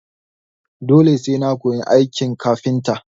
Dole sai na koyi aikin kafintan?